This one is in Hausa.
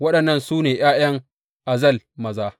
Waɗannan su ne ’ya’yan Azel maza.